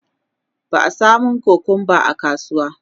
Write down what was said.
ba a samun kukumba a kasuwa